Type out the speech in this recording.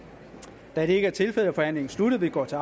da det ikke er tilfældet er forhandlingen sluttet vi går til